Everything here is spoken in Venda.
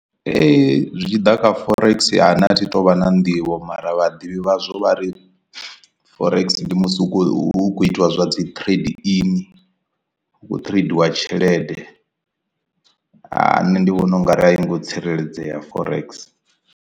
Zwi tshi ḓa kha forex a nṋe a thi tu vha na nḓivho mara vhaḓivhi vhaswa vha ri forex ndi musi hu khou itiwa zwa dzi trade in hu kho tradiwa tshelede a nṋe ndi vhona ungari a i ngo tsireledzea forex.